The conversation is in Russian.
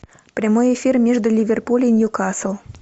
прямой эфир между ливерпуль и ньюкасл